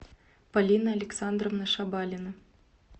полина александровна шабалина